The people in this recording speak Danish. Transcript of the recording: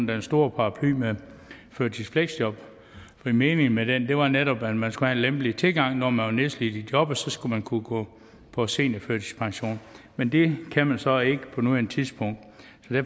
den store paraply med førtidsfleksjob for meningen med den var netop at man skulle have en lempeligere tilgang og når man var nedslidt i jobbet skulle man kunne gå på seniorførtidspension men det kan man så ikke på nuværende tidspunkt